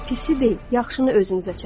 Pisi deyil, yaxşını özünüzə çəkin.